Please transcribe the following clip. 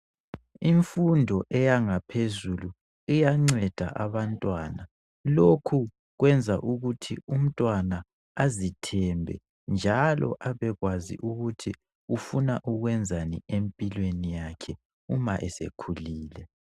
Imfundo eyangaphezuli iyanceda abantwana. Lokhu kwenza ukuthi umntwana azithembe njalo abekwazi ukuthi ufuna ukwenzani empilweni yakhe uma esekhulile.